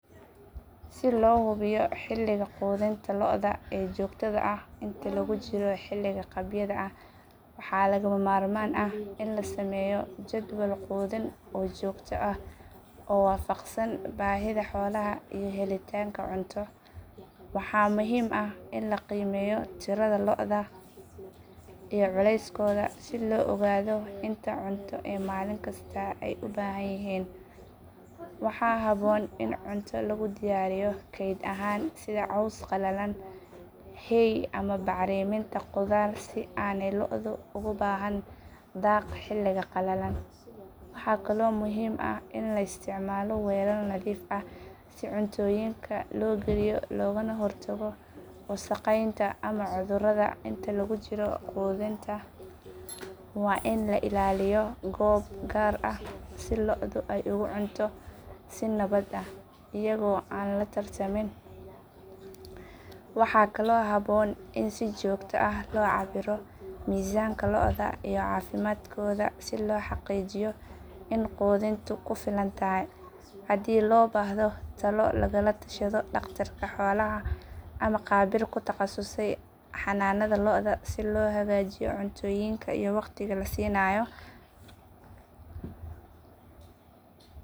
Si loo hubiyo xilliga quudinta lo’da ee joogtada ah inta lagu jiro xilliga qabyada ah waxaa lagama maarmaan ah in la sameeyo jadwal quudin oo joogto ah oo waafaqsan baahida xoolaha iyo helitaanka cunto. Waxaa muhiim ah in la qiimeeyo tirada lo’da iyo culeyskooda si loo ogaado inta cunto ee maalin kasta ay u baahan yihiin. Waxaa habboon in cunto lagu diyaariyo keyd ahaan sida caws qalalan, hay ama bacriminta qudaar si aanay lo’du ugu baahnaan daaq xilliga qalalan. Waxaa kaloo muhiim ah in la isticmaalo weelal nadiif ah si cuntooyinka loo geliyo loogana hortago wasakheynta ama cudurrada. Inta lagu jiro quudinta waa in la ilaaliyo goobo gaar ah si lo’du ay ugu cunto si nabad ah iyadoo aan la tartamin. Waxaa kaloo habboon in si joogto ah loo cabbiro miisaanka lo’da iyo caafimaadkooda si loo xaqiijiyo in quudintu ku filan tahay. Haddii loo baahdo, talo lagala tashado dhaqtarka xoolaha ama khabiir ku takhasusay xanaanada lo’da si loo hagaajiyo cuntooyinka iyo waqtiga la siinayo.